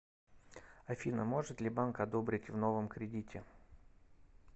афина может ли банк одобрить в новом кредите